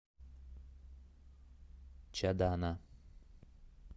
чадана